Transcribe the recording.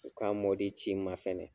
U k'a ci n ma fɛnɛ